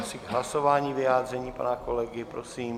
Asi k hlasování vyjádření pana kolegy, prosím.